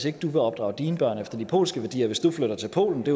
ikke vil opdrage mine børn efter polske værdier hvis jeg flyttede til polen det